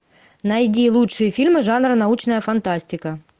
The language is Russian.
найди лучшие фильмы жанра научная фантастика